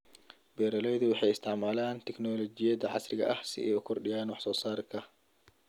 Beeraleydu waxay isticmaalaan tignoolajiyada casriga ah si ay u kordhiyaan wax soo saarka.